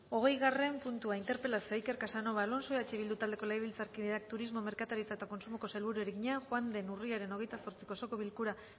hogeigarren puntua interpelazioa iker casanova alonso eh bildu taldeko legebiltzarkideak turismo merkataritza eta kontsumoko sailburuari egina joan den urriaren hogeita zortziko osoko bilkura